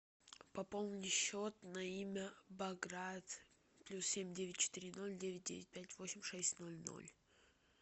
пополни счет на имя баграт плюс семь девять четыре ноль девять девять пять восемь шесть ноль ноль